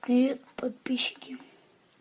привет подписчики